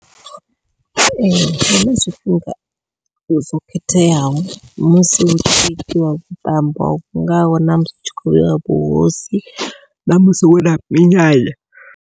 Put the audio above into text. Ee huna zwifhinga zwo khetheaho musi hu tshi itiwa vhuṱambo vhu ngaho namusi ri tshi khou vheiwa vhuhosi ṋamusi huna minyanya.